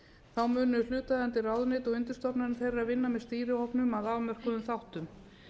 þá munu hlutaðeigandi ráðuneyti og undirstofnanir þeirra vinna með stýrihópnum að afmörkuðum þáttum